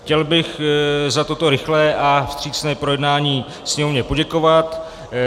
Chtěl bych za toto rychlé a vstřícné projednání Sněmovně poděkovat.